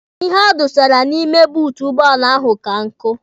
Ihe a dọsara n'ime buutu ụgbọala ahụ ka nkụ.